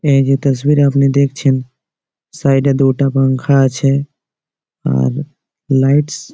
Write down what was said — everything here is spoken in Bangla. এই যে তাসভিরে আপনি দেখছেন সাইড -এ দুটো পাঙ্খা আছে আর লাইটস --